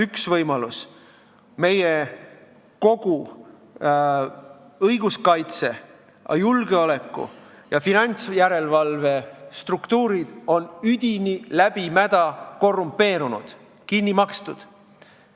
Üks võimalus: meie õiguskaitse-, julgeoleku- ja finantsjärelevalvestruktuurid on üdini mädad, korrumpeerunud, kinni makstud.